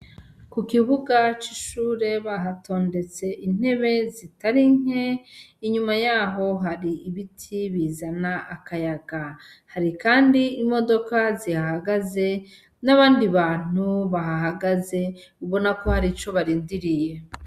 Kukibuga c'ishure bahatondetse intebe zitari nke ,inyuma yaho hari ibiti bizana akayaga, hari kandi imodoka zihahagaze n'abandi bantu bahahagaze ubona ko har'ico barindiriye.